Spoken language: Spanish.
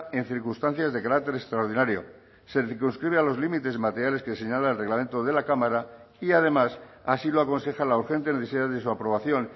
en circunstancias de carácter extraordinario se circunscribe a los límites materiales que señala el reglamento de la cámara y además así lo aconseja la urgente necesidad de su aprobación